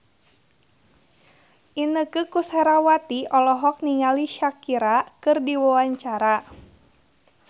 Inneke Koesherawati olohok ningali Shakira keur diwawancara